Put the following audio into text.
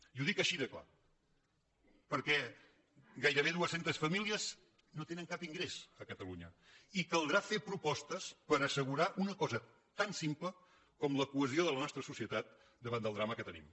i ho dic així de clar perquè gairebé dues centes famílies no tenen cap ingrés a catalunya i caldrà fer propostes per assegurar una cosa tan simple com la cohesió de la nostra societat davant del drama que tenim